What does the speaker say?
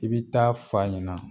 I bɛ taa f'a ɲɛna